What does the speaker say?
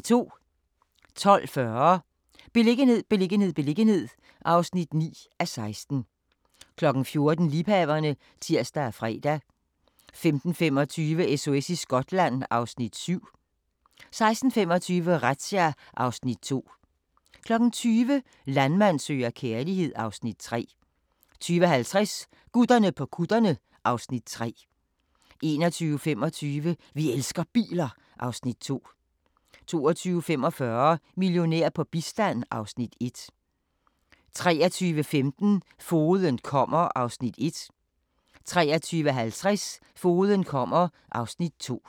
12:40: Beliggenhed, beliggenhed, beliggenhed (9:16) 14:00: Liebhaverne (tir og fre) 15:35: SOS i Skotland (Afs. 7) 16:25: Razzia (Afs. 2) 20:00: Landmand søger kærlighed (Afs. 3) 20:50: Gutterne på kutterne (Afs. 3) 21:25: Vi elsker biler (Afs. 2) 22:45: Millionær på bistand (Afs. 1) 23:15: Fogeden kommer (Afs. 1) 23:50: Fogeden kommer (Afs. 2)